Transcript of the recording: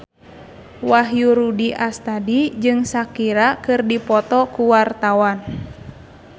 Wahyu Rudi Astadi jeung Shakira keur dipoto ku wartawan